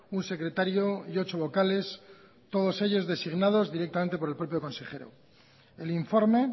un secretario y ocho vocales todos ellos designados directamente por el propio consejero el informe